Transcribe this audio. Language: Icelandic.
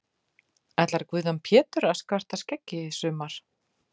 Ætlar Guðjón Pétur að skarta skeggi í sumar?